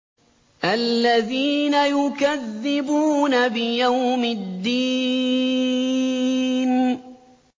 الَّذِينَ يُكَذِّبُونَ بِيَوْمِ الدِّينِ